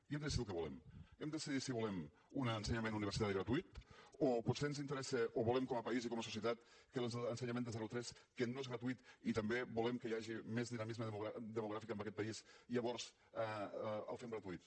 i hem de decidir el que volem hem de decidir si volem un ensenyament universitari gratuït o potser ens interessa o volem com a país i com a societat que l’ensenyament de zero a tres que no és gratuït i també volem que hi hagi més dinamisme demogràfic en aquest país llavors el fem gratuït